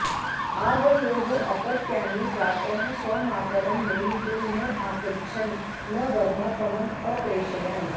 आवयोः अपत्यानि प्रातः स्वमातरं मेलितुं न आगच्छन् न वर्धापनम् अप्रेषयन्